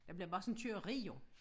Der bliver bare sådan et køreri jo